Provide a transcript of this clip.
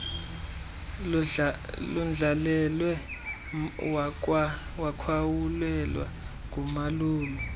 londlalelwe wakhawulelwa ngumalume